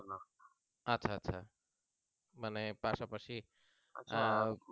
আচ্ছা আচ্ছা মানে পাশাপাশি